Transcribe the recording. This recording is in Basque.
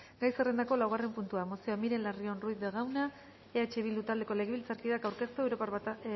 gai zerrendako laugarren puntua mozioa miren larrion ruiz de gauna eh bildu taldeko legebiltzarkideak aurkeztua europar